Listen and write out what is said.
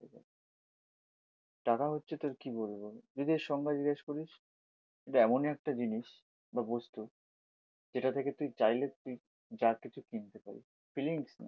টাকা হচ্ছে তোর কি বলবো, যদি এর সংজ্ঞা জিজ্ঞাস করিস এটা এমনি একটা জিনিস বা বস্তু যেটা থেকে তুই চাইলে যা কিছু কিনতে পারিস। ফিলিংস